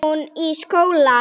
Hún í skóla.